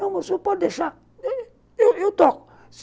Não, mas o senhor pode deixar, eu toco.